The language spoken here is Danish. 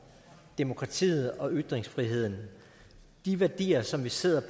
demokratiet og ytringsfriheden de værdier som vi sidder